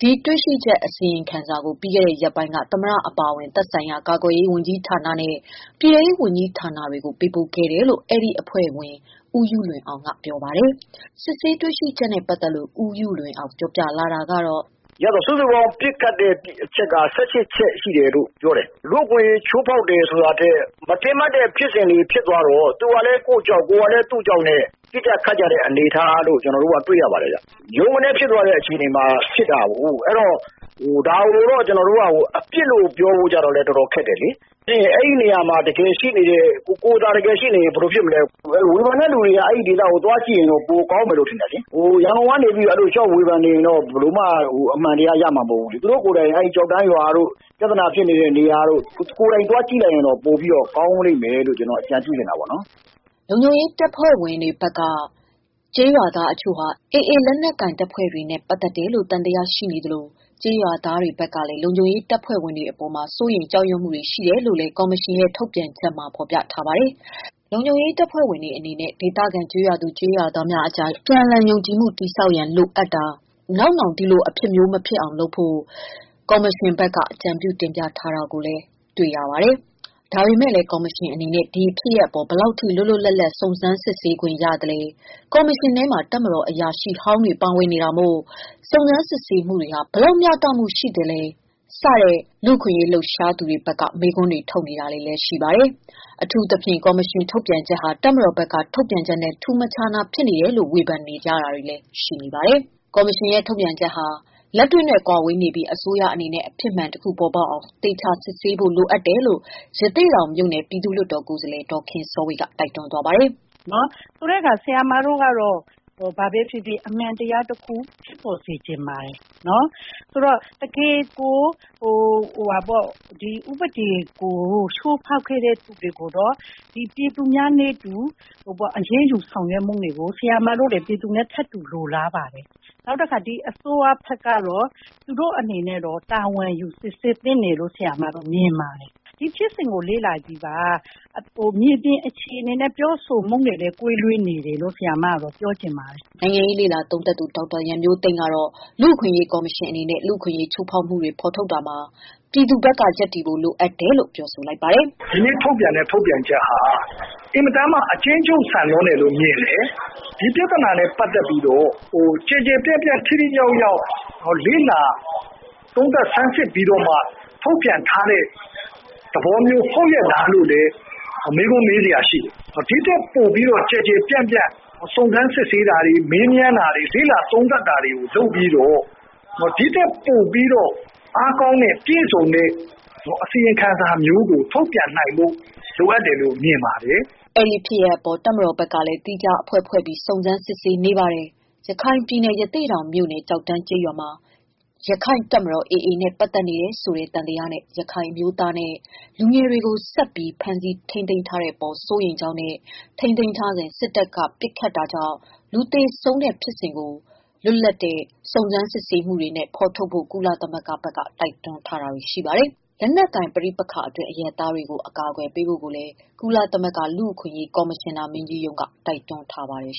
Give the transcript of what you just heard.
ဒီတွေ့ရှိချက်အစီရင်ခံစာကို ပြီးခဲ့တဲ့ ရက်ပိုင်းက သမ္မတ အပါအဝင် သက်ဆိုင်ရာ ကာကွယ်ရေးနဲ့ ပြည်တဲရေး ဝန်ကြီးဌာနတွေကို ပေးပို့ခဲ့တယ် လို့ အဲဒီအဖွဲ့ဝင် ဦးယုလွင်အောင်က ပြောပါတယ်။ စစ်ဆေးတွေ့ရှိချက်နဲ့ပတ်သတ်လို့ ဦးယုလွင်အောင်ပြောပြတာက “စုစုပေါင်းပစ်ခတ်တဲ့ ပစ်ချက်က ၁၈ချက် ရှိတယ်ပြောတယ်။ လူ့အခွင့်အရေးချိုးဖောက်တာထက် မထင်မှတ်တဲ့ ဖြစ်စဉ်တွေ ဖြစ်တော့ သူကလည်း ကိုယ့်ကြောက် ကိုယ်ကလည်း သူ့ကြောက်နဲ့ ပစ်ခတ်တဲ့ အနေအထားကို တွေ့ရပါတယ်။ ဗြုန်းကနဲဖြစ်တဲ့ အခြေအနေမှာဖြစ်တာကို ဒါကိုလည်း အပြစ်လို့ပြောဖို့ရာတော်တော်ခက်ပါတယ်။ အဲဒီနေရာမှာ ကိုယ်သာ တကယ်ရှိရင် ဘယ်လိုဖြစ်မလဲ။ ဝေဖန်တဲ့သူတွေအနေနဲ့ အဲဒေသကိုသွား ကြည့်တာပိုကောင်းမယ်ထင်တယ်။ ရန်ကုန်ကနေပြီး ဝေဖန်နေတာနဲ့ အဖြစ်မှန်ရမယ်မထင်ဘူး။ သူတို့တွေအနေနဲ့ ဖြစ်တဲ့ နေရာတွေ သေချာသွား လေ့လာသင့်တယ်လို့ အကြံပြုချင်ပါတယ်။” လုံခြုံရေးတပ်ဖွဲ့ဝင်တွေဘက်က ကျေးရွာသားအချို့ဟာ AA လက်နက်ကိုင်တွေနဲ့ ပတ်သက်တယ်လို့ သံသယရှိသလိုပဲ၊ ကျေးရွာသားတွေဖက်ကလည်း လုံခြုံရေးတပ်ဖွဲ့ဝင်တွေအပေါ် စိုးရိမ်ကြောက်ရွံမှုတွေရှိနေတယ်လို့လည်း ကော်မရှင်ရဲ့ ထုတ်ပြန်ချက်မှာ ဖော်ပြပါတယ်။ လုံခြုံရေးတပ်ဖွဲ့ဝင်တွေ အနေနဲ့ ဒေသခံကျေးရွာသူ ကျေးရွာသားများအကြား အပြန်အလှန် ယုံကြည်မှုတည်တောက် ရန်လိုအပ်တာ၊ နောက်နောင် ဒီလိုအဖြစ်မျိုးမဖြစ်အောင် လုပ်ဖို့ အကြံပြုတင်ပြထားတာကို တွေ့ရပါတယ်။ ဒါပေမယ့်လည်း ကော်မရှင်အနေနဲ့ ဒီအဖြစ်အပျက်အပေါ် ဘယ်လောက်အထိ လွတ်လွတ်လပ်လပ် စစ်ဆေးခွင့်ရသလဲ၊ ကော်မရှင်ထဲမှာ တပ်မတော်အရာရှိဟောင်းတွေပါ ပါဝင်နေတာမို့ စုံစမ်းမှုတွေဟာ ဘယ်လောက် တရားမျှတနိုင်ချေရှိသလဲ စသဖြင့် လူ့အခွင့်အရေးလှုပ်ရှားသူတွေဖက်က မေးခွန်းထုတ်နေပါတယ် ။အထူးသဖြင့် ကော်မရှင်ထုတ်ပြန်ချက်ဟာ တပ်မတော်ဖက်က ထုတ်ပြန်ချက်နဲ့ မထူးမခြားနားဖြစ်နေတယ်လို့ ဝေဖန်ကြပါတယ်။ ကော်မရှင်ရဲ့ထုတ်ပြန်ချက်ဟာ လက်တွေ့နဲ့ ကွာဝေးနေပြီး အစိုးရအနေနဲ့ အဖြေမှန်တခု ပေါ်ပေါက်အောင် သေချာစစ်ဆေးပေးဖို့လိုတယ်လို့ ရသေ့တောင် မြို့နယ်က ပြည်သူ့လွှတ်တော်ကိုယ်စားလှယ် ဒေါ်ခင်စောဝေ က တိုက်တွန်းပါတယ်။ “ ဆရာမတို့ကတော့ ဘာပဲဖြစ်ဖြစ်အမှန်တရားတခု ဖြစ်ပေါ်စေချင်ပါတယ်။ ဥပဒေ ချိုးဖောက်ခဲ့တဲ့ သူတွေကို ပြည်သူတွေနဲ့နည်းတူ အရေးယူနိုင်ဖို့ ဆရာမတို့တွေ ပြည်သူနဲ့ ထပ်တူလိုလားပါ တယ်။ အစိုးရ အနေနဲ့ တာဝန်ယူ စစ်ဆေးဖြေရှင်းသင့်တယ်လို့ မြင်ပါတယ်။ ဖြစ်စဉ်အခြေအနေကို လေ့လာကြည့်ပါ။ မြေပြင်အခြေအနေနဲ့ ကွဲလွဲနေပါတယ်လို့ ဆရာမက ပြောချင်တယ်။” နိုင်ငံရေးလေ့လာသုံးသပ်သူ ဒေါက်တာရန်မျိုးသိမ်း ကတော့ လူ့အခွင့်ရေးကော်မရှင်အနေနဲ့ လူ့အခွင့်အရေးချိုးဖောက်မှုတွေထုတ်ဖော်တာမှာ ပြည်သူဘက် ရပ်ဖို့လိုအပ်တယ်လို့ ပြောဆိုလိုက်ပါတယ်။ “ဒီနေ့ထုတ်ပြန်တဲ့ ထုတ်ပြန်ချက်ဟာအင်မတန် အကျဉ်းချုပ်ဆန်တယ်လို့ မြင်တယ်။ ဒီပြဿနာက ကျယ်ကျယ်ပြန့်ပြန့်နဲ့ ထိထိရောက်ရောက် လေ့လာသုံးသပ် စမ်းစစ်ပြီးတော့မှ ထုတ်ပြန်ထားတဲ့ သဘောမျိုး ဟုတ်ရဲ့လားလို့ မေးခွန်းထုတ်စရာဖြစ်တယ်။ ဒီထက်ပိုကျယ်ကျယ်ပြန့်ပြန့် စုံစမ်းစစ်ဆေးတာတွေ မေးမြန်းတာတွေ ၊ သုံးသပ်တာတွေ လုပ်ပြီးတော့ ဒီထက်ပိုပြီးတော့ အားကောင်းပြည့်စုံတဲ့ အစီရင်ခံစာမျိုးကို ထုတ်ပြန်နိုင်ဖို့ လိုအပ်တယ်လို့ မြင်ပါတယ်။” အဲဒီဖြစ်ရပ်အပေါ် တပ်မတော်ဘက်ကလည်း သီးခြားအဖွဲ့ဖွဲ့ပြီး စုံစမ်းစစ်ဆေးနေပါတယ်။ ရခိုင်ပြည်နယ် ရသေ့တောင်မြို့နယ်၊ ကျောက်တန်းရွာ မှာ ရခိုင့်တပ်မတော် AA နဲ့ ပတ်သက် နေတယ်ဆိုတဲ့ သံသယနဲ့ ရခိုင်အမျိုးသားနဲ့ လူငယ်တွေကို ဆက်ပြီး ဖမ်းဆီးထားတဲ့အပေါ် စိုးရိမ်ကြောင်းနဲ့ ထိန်းသိမ်းထားစဉ် စစ်တပ်က ပစ်ခတ်တာကြောင့် လူသေဆုံးတဲ့ဖြစ်စဉ်ကို လွတ်လပ်တဲ့ စုံစမ်းမှုတွေနဲ့ ဖော်ထုတ်ဖို့ ကုလသမဂ္ဂဘက်က တိုက်တွန်း ထားပါတယ်။ လက်နက်ကိုင် ပဋိပက္ခအတွင်း အရပ်သားတွေကို အကာကွယ်ပေးဖို့လည်း ကုလသမဂ္ဂ လူ့အခွင့်အရေးကော်မရှင်နာ မင်းကြီးရုံး က တိုက်တွန်းထားပါတယ်